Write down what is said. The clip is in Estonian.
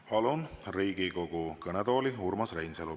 Palun Riigikogu kõnetooli Urmas Reinsalu.